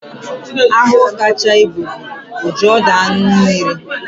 Ahụhụ kacha ibu bụ ojiọdụaṅụmmiri